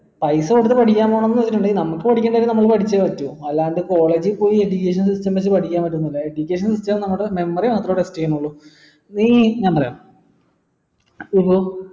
പൈസ കൊടുത്ത് നമക്ക് പഠികണ്ടത് പഠിച്ചേ പറ്റു അല്ലാണ്ട് college പോയ് education system വെച്ച് പഠിക്കാൻ പാറ്റാന്നില്ല education system നമ്മളെ memory മാത്രേ test ചെയ്യുന്നുള്ളു നീ ഞാൻ പറയാം ഇപ്പൊ